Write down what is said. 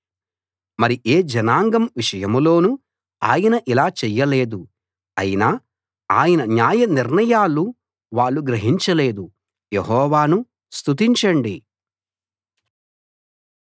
మరి ఏ జనాంగం విషయంలోనూ ఆయన ఇలా చెయ్య లేదు అయినా ఆయన న్యాయ నిర్ణయాలు వాళ్ళు గ్రహించలేదు యెహోవాను స్తుతించండి